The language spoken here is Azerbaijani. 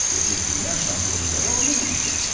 Və bir dünya çempionu ilə də oynamamışdım.